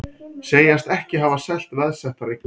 Segjast ekki hafa selt veðsettar eignir